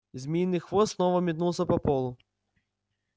змеиный хвост снова метнулся по полу